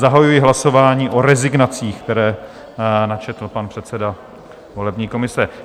Zahajuji hlasování o rezignacích, které načetl pan předseda volební komise.